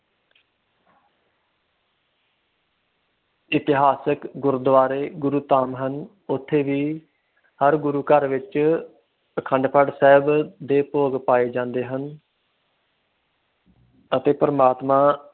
ਇਤਿਹਾਸਕ ਗੁਰਦੁਆਰੇ, ਗੁਰਧਾਮ ਹਨ ਉਥੇ ਵੀ ਹਰ ਗੁਰੂ ਘਰ ਸਾਹਿਬ ਵਿਚ ਅਖੰਡ ਪਾਠ ਦੇ ਭੋਗ ਪਾਏ ਜਾਂਦੇ ਹਨ ਅਤੇ ਪਰਮਾਤਮਾ